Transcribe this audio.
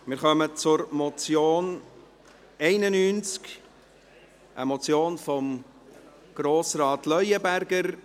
Wir kommen zur Motion 91, eine Motion von Grossrat Leuenberger.